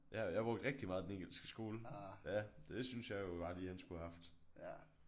Ja jeg brugte rigtig meget den engelske skole ja det syntes jeg jo bare lige han skulle have haft